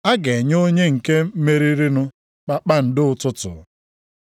a ga-enye onye nke meririnụ kpakpando ụtụtụ.